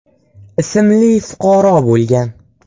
ismli fuqaro bo‘lgan.